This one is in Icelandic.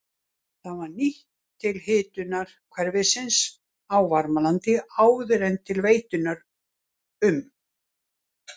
Það var nýtt til hitunar hverfisins á Varmalandi áður en til veitunnar um